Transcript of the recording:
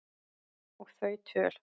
Og þau töl